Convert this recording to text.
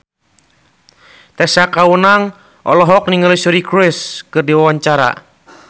Tessa Kaunang olohok ningali Suri Cruise keur diwawancara